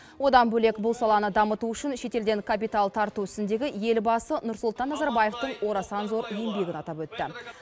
одан бөлек бұл саланы дамыту үшін шетелден капитал тарту ісіндегі елбасы нұрсұлтан назарбаевтың орасан зор еңбегін атап өтті